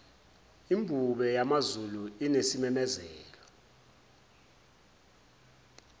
imbube yamazulu inesimemezelo